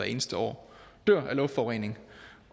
eneste år dør af luftforurening